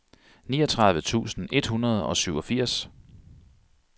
niogtredive tusind et hundrede og syvogfirs